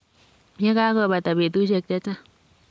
ye kakobada betusiek che chang.